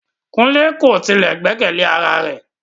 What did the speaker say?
Kunle ko tile gbẹkẹle ara rẹ